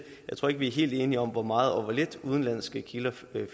jeg tror ikke at vi er helt enige om hvor meget og hvor lidt udenlandske kilder